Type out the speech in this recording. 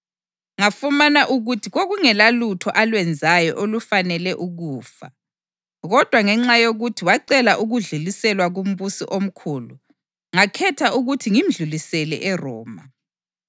Ngafumana ukuthi kwakungelalutho alwenzayo olufanele ukufa, kodwa ngenxa yokuthi wacela ukudluliselwa kuMbusi oMkhulu, ngakhetha ukuthi ngimdlulisele eRoma.